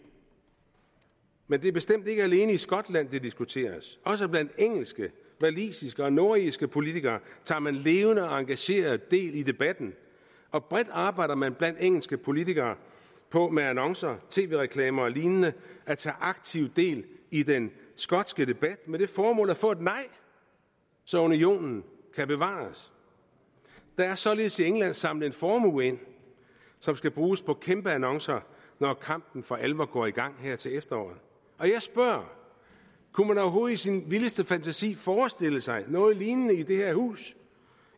men det er bestemt ikke alene i skotland det diskuteres også blandt engelske walisiske og nordirske politikere tager man levende og engageret del i debatten og bredt arbejder man blandt engelske politikere på med annoncer tv reklamer og lignende at tage aktiv del i den skotske debat med det formål at få et nej så unionen kan bevares der er således i england samlet en formue ind som skal bruges på kæmpe annoncer når kampen for alvor går i gang her til efteråret jeg spørger kunne man overhovedet i sin vildeste fantasi forestille sig noget lignende i det her hus